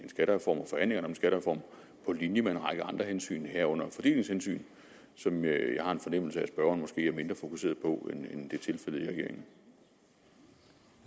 skattereform på linje med en række andre hensyn herunder fordelingshensyn som jeg har en fornemmelse af at spørgeren måske er mindre fokuseret på end det